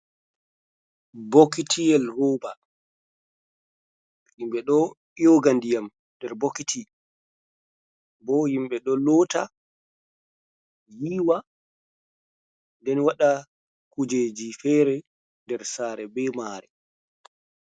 Bokitiyel roba himɓɓe ɗo yoga ndiyam nder bokiti, bo himɓɓe ɗo lota, yiwa, nden waɗa kujeji fere nder sare be mare.